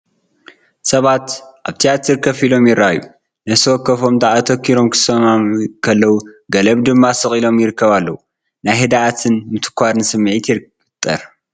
ሰባት ኣብ ትያትር ኮፍ ኢሎም ይረኣዩ። ነፍሲ ወከፎም ኣተኲሮም ክሰምዑ ከለዉ፡ ገሊኦም ድማ ስቕ ኢሎም ይእከቡ ኣለዉ። ናይ ህድኣትን ምትኳርን ስምዒት ይፈጥር።